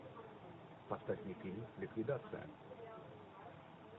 поставь мне фильм ликвидация